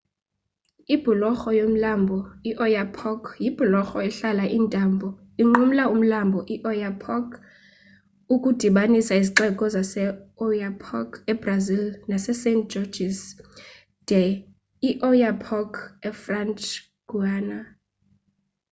ibhulorho yomlambo ioyapock yibhulorho ehlala intambo inqumla umlambo ioyapock ukudibanisa izixeko zaseoiapoque ebrazil nasesaint-georges de l'oyapock efrench guiana